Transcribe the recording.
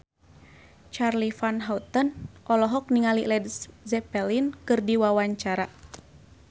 Charly Van Houten olohok ningali Led Zeppelin keur diwawancara